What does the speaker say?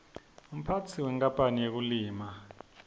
umphatsi wenkapanl yetekulima